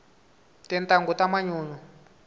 tintangu ta manyunyu